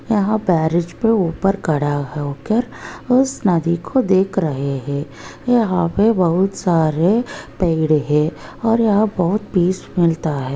यहाँ के ऊपर खड़ा होकर उस नदी को देख रहे है यहाँ पे बहुत सारे पेड़ है और यहाँ बहुत पीस मिलता है।